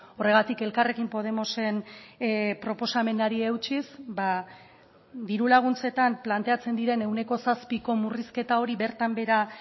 horregatik elkarrekin podemosen proposamenari eutsiz diru laguntzetan planteatzen diren ehuneko zazpiko murrizketa hori bertan behera